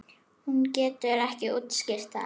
Hún getur ekki útskýrt það.